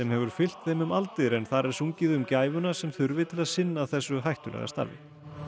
hefur fylgt þeim um aldir en þar er sungið um gæfuna sem þurfi til að sinna þessu hættulega starfi